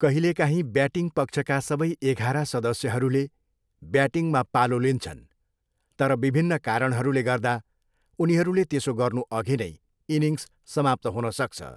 कहिलेकाहीँ ब्याटिङ पक्षका सबै एघार सदस्यहरूले ब्याटिङमा पालो लिन्छन् तर विभिन्न कारणहरूले गर्दा, उनीहरूले त्यसो गर्नुअघि नै इनिङ्स समाप्त हुन सक्छ।